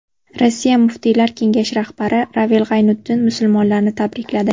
Rossiya muftiylar kengashi rahbari Ravil G‘aynutdin musulmonlarni tabrikladi.